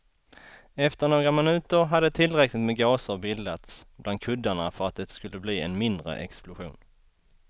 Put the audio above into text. Efter några minuter hade tillräckligt med gaser bildats bland kuddarna för att det skulle bli en mindre explosion.